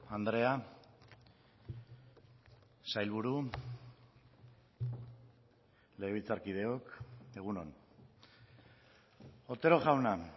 andrea sailburu legebiltzarkideok egun on otero jauna